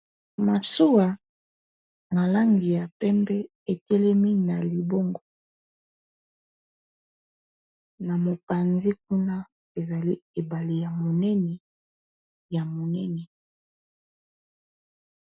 Masuwa na langi ya pembe etelemi na libongo na mopanzi kuna ezali ebale ya monene ya monene.